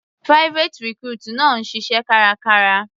Private recruit náà ń ṣiṣẹ́ kárakára.